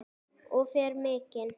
Og fer mikinn.